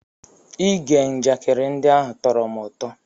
Ige njakịrị ndị ahụ tọrọ m ụtọ.